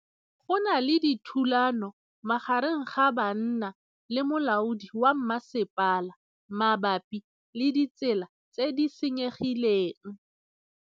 Go na le thulanô magareng ga banna le molaodi wa masepala mabapi le ditsela tse di senyegileng.